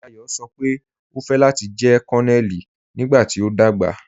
Dayọ sọ́ pe o fẹ́ láti jẹ̀ Kònonèlì nígbàtí o dagba.